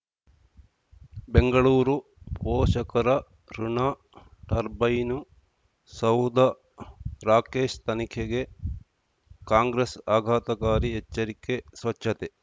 ಬೆಂಗಳೂರು ಪೋಷಕರಋಣ ಟರ್ಬೈನು ಸೌಧ ರಾಕೇಶ್ ತನಿಖೆಗೆ ಕಾಂಗ್ರೆಸ್ ಆಘಾತಕಾರಿ ಎಚ್ಚರಿಕೆ ಸ್ವಚ್ಛತೆ